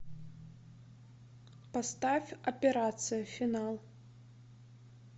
поставь операция финал